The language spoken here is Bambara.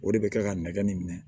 O de bɛ kila ka nɛgɛ nin minɛ